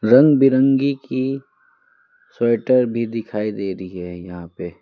रंग बिरंगी की स्वेटर भी दिखाई दे रही है यहाँ पे।